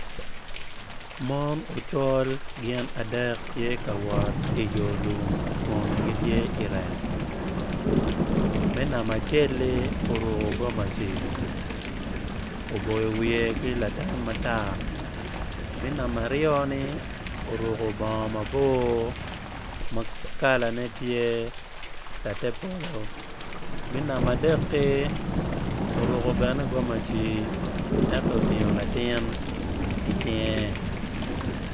Mon ocol gin adek gitye ka wot i yo lum kun gitye i rek me namba acel-li oruko gomaci oboyo wiye ki latam matar me namba aryo-ni oruko bongo mabor ma kalane tye latepolo me namba adeki oruko bene gomaci ento otingo latin i cinge.